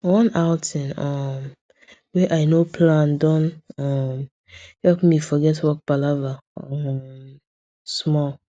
one outing um wey i no plan don um help me forget work palava um small